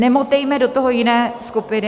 Nemotejme do toho jiné skupiny.